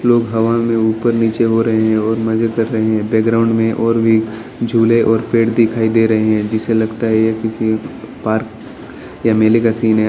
लोग हवा में ऊपर नीचे हो रहे हैं और मजे कर रहे हैं बैकग्राउंड में और भी झूले और पेड़ दिखाई दे रहे हैं जिसे लगता है यह किसी पार्क या मेले का सीन है।